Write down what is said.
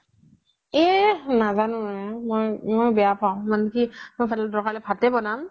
এ নাজানো মই বেয়া পাওঁ মানে কি মই দৰকাৰ হলে ভাতে বনাম